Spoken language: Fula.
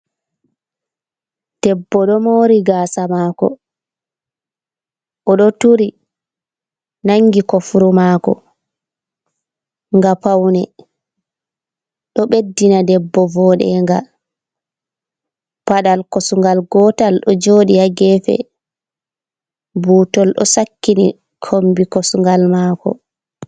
Debbo ɗo mori gasa mako oɗo turi nangi kofuru mako nga paune. Ɗo ɓeddina debbo voɗenga. Paɗal kosungal gotal ɗo joɗi ha gefe. Butol ɗo sakkini kombi kosungal mako.